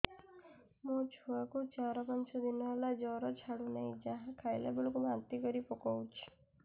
ମୋ ଛୁଆ କୁ ଚାର ପାଞ୍ଚ ଦିନ ହେଲା ଜର ଛାଡୁ ନାହିଁ ଯାହା ଖାଇଲା ବେଳକୁ ବାନ୍ତି କରି ପକଉଛି